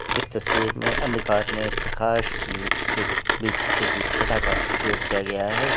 इस तस्वीर में अंधकार में प्रकाश की एक बिखरती हुई छटा का प्रयोग किया गया है।